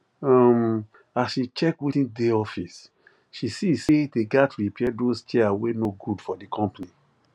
um as she check wetin dey office she see say they gat repair those chair wey no good for the company